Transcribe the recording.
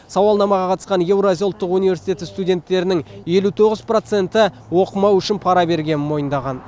сауалнамаға қатысқан еуразия ұлттық университеті студенттерінің елу тоғыз проценті оқымау үшін пара бергенін мойындаған